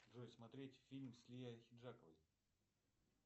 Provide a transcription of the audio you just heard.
джой смотреть фильм с лией ахеджаковой